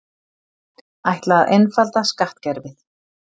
Ætla að einfalda skattkerfið